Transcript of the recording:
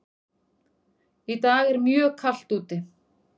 Í dag er mjög kalt úti.